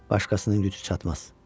Başqasının gücü çatmaz.